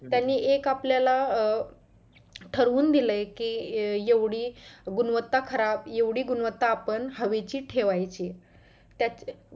त्यांनी एक आपल्याला अं ठरवून दिलंय कि एवढी गुणवता खराब एवढी गुणवंता आपण हवेची ठेवायची त्याच्या